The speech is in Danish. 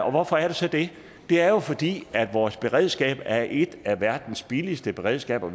og hvorfor er det så det det er jo fordi vores beredskab er et af verdens billigste beredskaber